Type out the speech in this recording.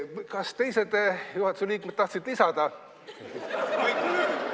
Kas teised juhatuse liikmed tahtsid midagi lisada?